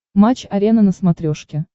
матч арена на смотрешке